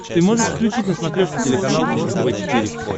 ты можешь включить на смотрешке телеканал фэшен тв четыре к